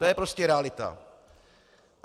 To je prostě realita.